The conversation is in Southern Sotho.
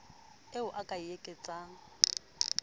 eo o ka e tlatsang